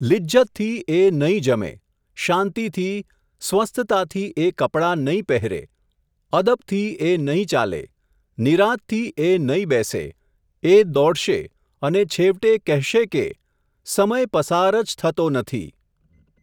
લિજ્જતથી એ નહીં જમે, શાંતિથી, સ્વસ્થતાથી એ કપડાં નહીં પેહેરે, અદબથી એ નહીં ચાલે, નિરાંતથી એ નહીં બેસે, એ દોડશે અને છેવટે કહેશે કે, સમય પસાર જ થતો નથી.